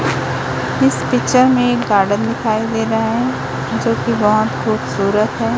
इस पिक्चर में एक गार्डन दिखाई दे रहा है जोकि बहोत खूबसूरत है।